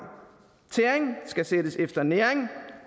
tæring skal sættes efter næring